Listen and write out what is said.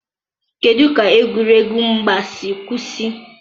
kedụ ka egwuregwu mgba si kwụsị?